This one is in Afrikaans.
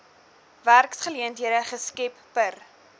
werksgeleenthede geskep per